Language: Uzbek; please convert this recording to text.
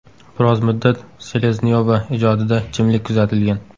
Biroz muddat Seleznyova ijodida jimlik kuzatilgan.